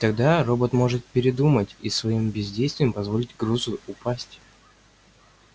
и тогда робот может передумать и своим бездействием позволить грузу упасть